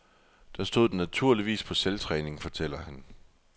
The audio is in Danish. Der stod den naturligvis på selvtræning, fortæller han.